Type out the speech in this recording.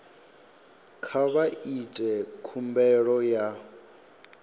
kha vha ite khumbelo ya